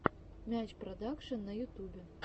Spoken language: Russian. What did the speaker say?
мяч продакшен на ютубе